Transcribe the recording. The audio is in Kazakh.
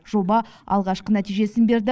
жоба алғашқы нәтижесін берді